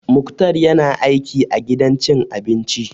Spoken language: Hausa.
Muktar ya na aiki a gidan cin abinci